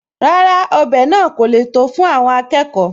Rárá, ọbẹ̀ náà kò le tó fún àwọn akẹkọ̀ọ́